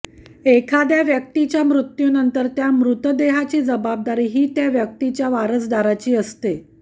एखाद्या व्यक्तीच्या मृत्यूनंतर त्या मृतदेहाची जबाबदारी ही त्या व्यक्तीच्या वारसदाराची असते